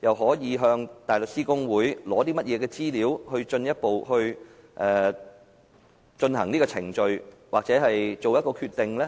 又可以向香港大律師公會取得甚麼資料，是繼續進行這個程序還是作出決定？